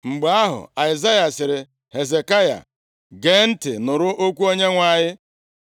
Mgbe ahụ, Aịzaya sịrị Hezekaya, “Gee ntị nụrụ okwu Onyenwe anyị.